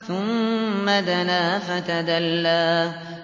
ثُمَّ دَنَا فَتَدَلَّىٰ